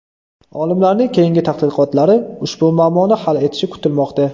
Olimlarning keyingi tadqiqotlari ushbu muammoni hal etishi kutilmoqda.